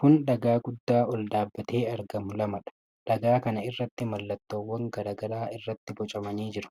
Kun dhagaa guddaa ol dhaabatee argamu lamadha. Dhagaa kana irratti mallattowwan garaa garaa irratti bocamanii jiru.